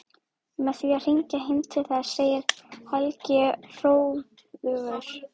Með því að hringja heim til þess, segir Helgi hróðugur.